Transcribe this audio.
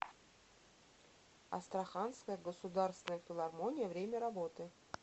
астраханская государственная филармония время работы